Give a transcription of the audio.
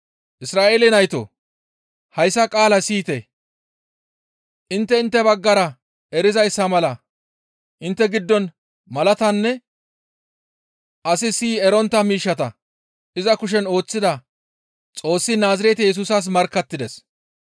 «Isra7eele naytoo! Hayssa qaala siyite; intte intte baggara erizayssa mala intte giddon malatanne asi siyi erontta miishshata iza kushen ooththidi Xoossi Naazirete Yesusas markkattides.